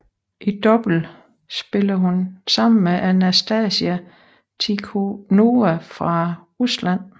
I double spillede hun sammen med Anastasia Tikhonova fra Rusland